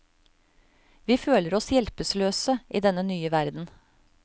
Vi føler oss hjelpeløse i denne nye verden.